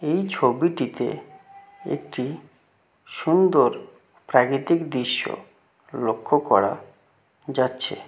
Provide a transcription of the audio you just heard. এই ছবিটিতে একটি সুন্দর প্রাকৃতিক দৃশ্য লক্ষ্য করা যাচ্ছে।